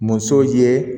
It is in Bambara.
Musow ye